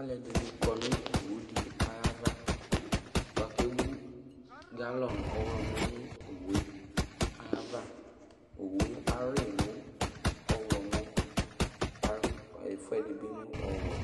Alʋɛdɩnɩ kɔ nʋ owu dɩ ayava bʋa kʋ ewu galɔn ɔɣlɔmɔ nʋ owu yɛ ayava Owu yɛ ayʋɩ nʋ ɔɣlɔmɔ kʋ ayʋɩ ɛfʋɛdɩ bɩ nʋ ɔwɛ